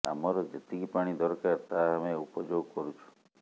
ଆମର ଯେତିକି ପାଣି ଦରକାର ତାହା ଆମେ ଉପଯୋଗ କରୁଛୁ